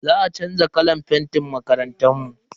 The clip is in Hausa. Za a chanza kalan fentin makarantar mu.